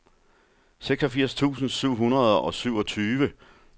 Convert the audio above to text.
seksogfirs tusind syv hundrede og syvogtyve